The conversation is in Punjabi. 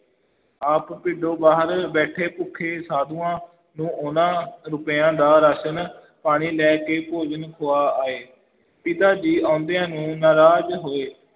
ਆਪ, ਪਿੰਡੋ ਬਾਹਰ ਬੈਠੇ ਭੁੱਖੇ ਸਾਧੂਆਂ ਨੂੰ ਉਹਨਾਂ ਰੁਪਇਆਂ ਦਾ ਰਾਸ਼ਨ ਪਾਣੀ ਲੈ ਕੇ ਭੋਜਨ ਖੁਆ ਆਏ, ਪਿਤਾ ਜੀ ਆਉਂਦਿਆਂ ਨੂੰ ਨਾਰਾਜ਼ ਹੋਏ,